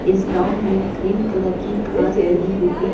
इस ग्राउंड में green colour की घास लगी हुई है।